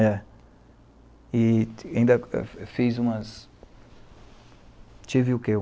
É. E e ainda eh eh fiz umas... tive o quê?